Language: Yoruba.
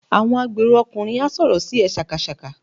Àwọn agbèrò ọkùnrin á sọ̀rọ̀ sí ẹ sákasàka.